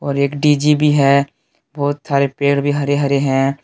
और एक डिजी भी है बहुत सारे पेड़ भी हरे हरे हैं।